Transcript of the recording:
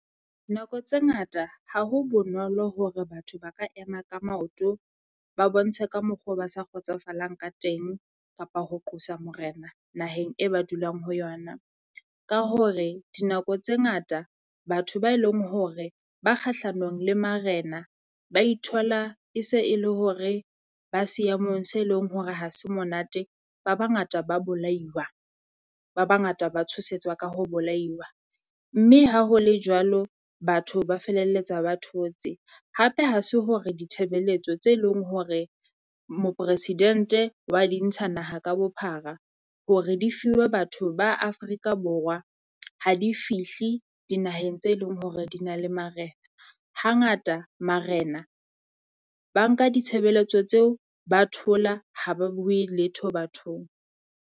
Nako tse ngata ha ho bonolo hore batho ba ka ema ka maoto, ba bontshe ka mokgo ba sa kgotsofalang ka teng kapa ho qosa morena naheng e ba dulang ho yona. Ka hore dinako tse ngata batho ba e leng hore ba kgahlanong le marena ba ithola e se e le hore ba seemong se leng hore ha se monate. Ba bangata ba bolaiwa, ba bangata ba tshosetswa ka ho bolaiwa. Mme ha ho le jwalo, batho ba felelletsa ba thotse. Hape ha se hore ditshebeletso tse leng hore Moporesidente wa di ntsha naha ka bophara hore di fiwe batho ba Afrika Borwa, ha di fihle dinaheng tse leng hore di na le marena. Hangata marena ba nka ditshebeletso tseo, ba thola ha ba bue letho bathong.